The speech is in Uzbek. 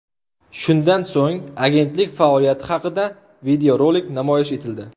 Shundan so‘ng agentlik faoliyati haqida videorolik namoyish etildi.